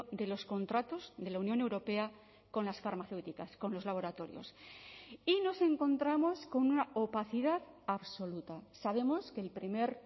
de los contratos de la unión europea con las farmacéuticas con los laboratorios y nos encontramos con una opacidad absoluta sabemos que el primer